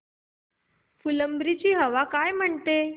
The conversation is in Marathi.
फुलंब्री ची हवा काय म्हणते